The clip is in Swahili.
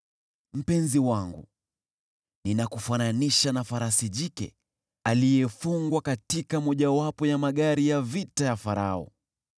Mpenzi wangu, ninakufananisha na farasi jike aliyefungwa katika mojawapo ya magari ya vita ya Farao.